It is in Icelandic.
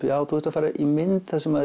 já þú ert að fara í mynd þar sem